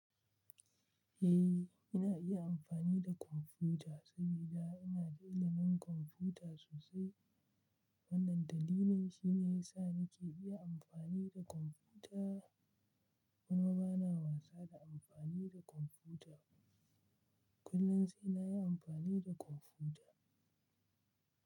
Eh, ina iya amfani da kwamfuta saboda ina da ilimin kwamfuta sosai. Wannan dalilin shine ya sa nake iya amfani da kwamfuta. Kuma bana wasa da amfani da kwamfuta. Kullum sai na yi amfani da kwamfuta.